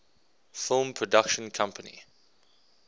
film production company